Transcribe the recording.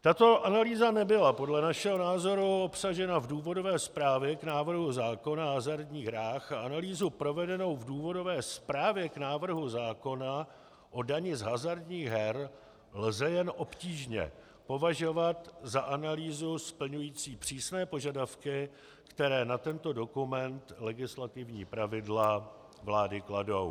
Tato analýza nebyla podle našeho názoru obsažena v důvodové zprávě k návrhu zákona o hazardních hrách a analýzu provedenou v důvodové zprávě k návrhu zákona o dani z hazardních her lze jen obtížně považovat za analýzu splňující přísné požadavky, které na tento dokument legislativní pravidla vlády kladou.